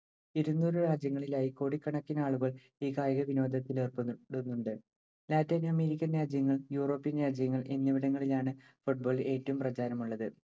ഇരുനൂറ് രാജ്യങ്ങളിലായി കോടിക്കണക്കിനാളുകൾ ഈ കായികവിനോദത്തിലേർപ്പെടുന്നുണ്ട്‌. ലാറ്റിനമേരിക്കൻ രാജ്യങ്ങൾ, യൂറോപ്യന്‍ രാജ്യങ്ങള്‍ എന്നിവിടങ്ങളിലാണ്‌ football ഏറ്റവും പ്രചാരമുളളത്‌.